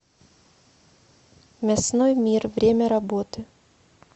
мясной мир время работы